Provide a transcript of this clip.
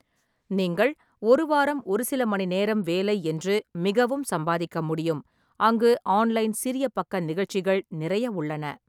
நீங்கள் ஒரு வாரம் ஒரு சில மணி நேரம் வேலை என்று மிகவும் சம்பாதிக்க முடியும் அங்கு ஆன்லைன் சிறிய பக்க நிகழ்ச்சிகள் நிறைய உள்ளன.